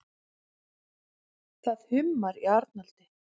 Það hummar í Arnaldi.